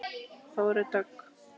Þórey Dögg.